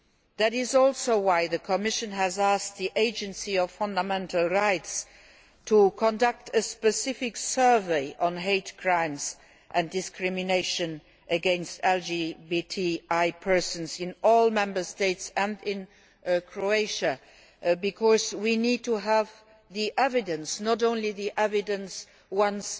That is also why the Commission has asked the Agency for Fundamental Rights to conduct a specific survey on hate crimes and discrimination against LGBTI persons in all Member States and in Croatia, because we need to have evidence not only the evidence once